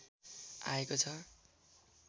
आएको छ